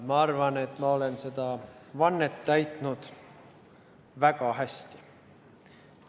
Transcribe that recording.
Ma arvan, et ma olen seda vannet täitnud väga hästi.